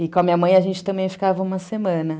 E com a minha mãe a gente também ficava uma semana.